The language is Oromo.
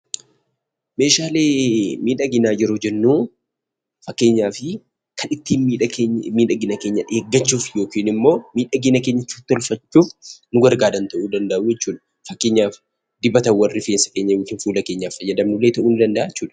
Meeshaalee miidhaginaa yeroo jennu fakkeenyaaf kan ittiin miidhaginaa keenya eeggachuudhaaf yookiin immoo miidhagina keenya ittiin tikfachuuf nu gargaaran ta'uu danda’u jechuudha. Fakkeenyaaf dibatawwan nuti fuula keenyaafi rifeensa keenyaaf fayyadamnu ta'uu danda’a jechuudha.